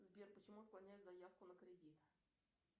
сбер почему отклоняют заявку на кредит